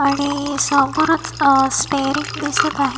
आणि समोरच अ स्टेरिंग दिसत आहे.